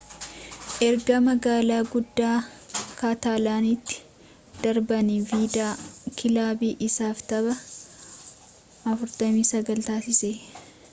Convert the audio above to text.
erga magaala guddaa kaatalaanitti darbaani viidaal kilaabii isaaf taphaa 49 taasisee